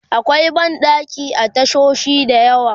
akwai banɗaki a tashoshi da yawa